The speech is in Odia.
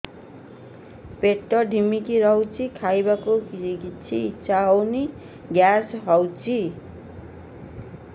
ପେଟ ଢିମିକି ରହୁଛି ଖାଇବାକୁ ଇଛା ହଉନି ଗ୍ୟାସ ହଉଚି